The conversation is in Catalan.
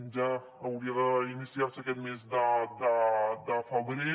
ja hauria d’iniciar se aquest mes de febrer